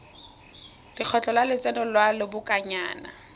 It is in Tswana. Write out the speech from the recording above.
lekgetho la lotseno lwa lobakanyana